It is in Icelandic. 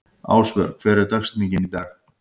Ásvör, hver er dagsetningin í dag?